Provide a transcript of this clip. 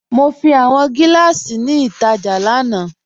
Mo fi awọn giláṣí ni ítajà lánà.